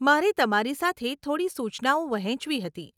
મારે તમારી સાથે થોડી સૂચનાઓ વહેંચવી હતી.